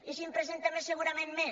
i si en presenta més segurament més